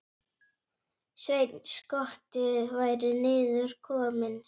Sveinn skotti væri niður kominn.